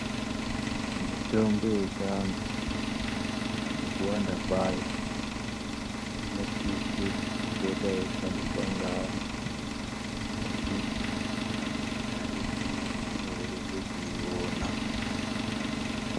Mitombo yechiantu nekuwanda kwayo inosise kupota yeishandiswa ngeantu ngekuti aidhuri, inoreruke kuiona.